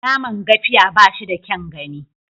Naman Gafiya ba shi da kyaun gani.